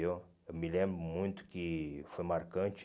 viu Eu me lembro muito que foi marcante.